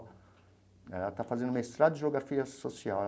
Né ela está fazendo mestrado de Geografia Social.